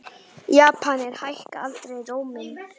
Japanir hækka aldrei róminn.